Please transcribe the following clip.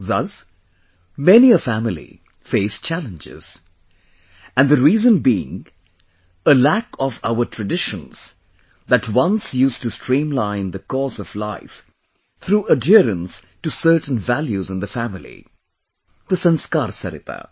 Thus, many a family, faced challenges and the reason being a lack of our traditions that once used to streamline the course of life through adherence to certain values in the family 'The Sanskar Sarita